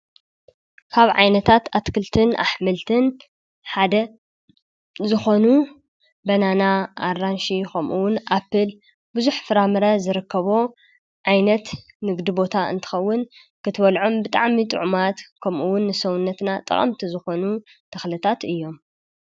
ካብ ዓይነታት ኣትክልትን ኣኅምልትን ሓደ ዝኾኑ በናና ኣራንሽ ኾምኡውን ኣፑል ብዙኅ ፍራምረ ዘረከቦ ዓይነት ንግዲ ቦታ እንተኸውን ክትበልዖም ብጣዕሚ ጥዕማት ከምኡውን ንሰውነትና ጠቐምቲ ዝኾኑ ተኽለታት እዮም።